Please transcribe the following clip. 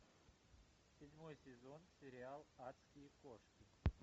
седьмой сезон сериал адские кошки